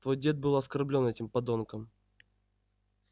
твой дед был оскорблён этим подонком